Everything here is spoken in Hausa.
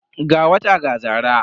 Ga wata ga zara.